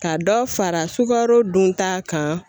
Ka dɔ fara sukaro dunta kan.